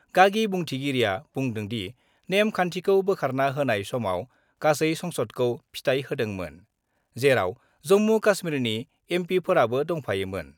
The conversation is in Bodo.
गागि बुंथिगिरिया बुंदोंदि, नेम खान्थिखौ बोखारना होनाय समाव गासै संसदखौ फिथाइ होदोंमोन, जेराव जम्मु- काश्मीरनि एमपिफोराबो दंफायोमोन।